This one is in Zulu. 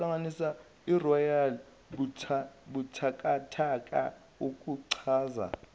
yalobu buthakathaka okuchaza